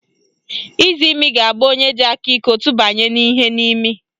Izimi ga-agba onye ji aka iko tụbanye ihe n'imi